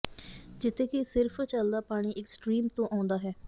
ਜਿੱਥੇ ਕਿ ਸਿਰਫ ਚੱਲਦਾ ਪਾਣੀ ਇੱਕ ਸਟਰੀਮ ਤੋਂ ਆਉਂਦਾ ਹੈ